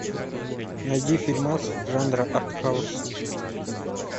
найди фильмас жанра артхаус